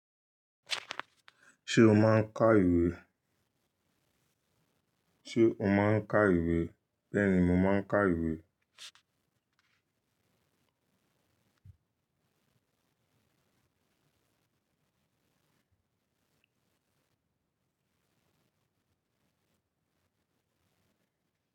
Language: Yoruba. Ṣé o máa ń ka ìwé? O máa ń ka ìwé? Bẹ́ẹ̀ni, mo máa ń ka ìwé.